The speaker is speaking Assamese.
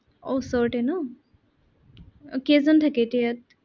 আহ ওচৰতে ন আহ কেইজন থাকে এতিয়া ইয়াত?